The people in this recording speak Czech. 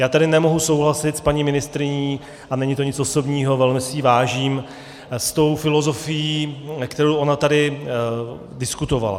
Já tady nemohu souhlasit s paní ministryní, a není to nic osobního, velmi si jí vážím, s tou filozofií, kterou ona tady diskutovala.